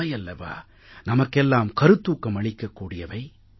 இவையல்லவா நமக்கெல்லாம் கருத்தூக்கம் அளிக்கக் கூடியவை